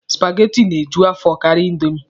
Supageti na-eju afọ karịa indomi.